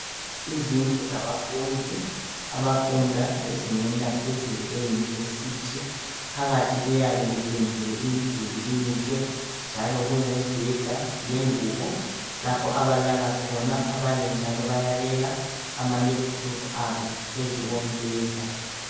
Izindlu zabafundi abafunda ezingeni elaphezulu eunivesithi phathi kuyabe kupendiwe imiduli imihle njalo kuyabe kulemibheda lengubo lapho abalala khona abanye njalo bayabeka amalephuthophu wabo phezu kombeda.